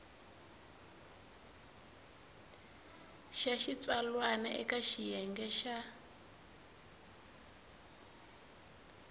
xa xitsalwana eka xiyenge xa